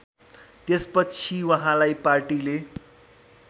त्यसपछि उहाँलाई पार्टीले